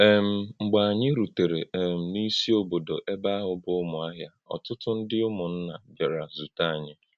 um Mḡbè ānyị̄ rùtèrè um n’ísí̄ òbòdò̄ ébè̄ áhụ̄ bụ́ Umuahia, ọ́tụ́tụ́ ǹdí̀ ụ̀mụ̀nná̄ bịárà zùtè̄ ānyị̄.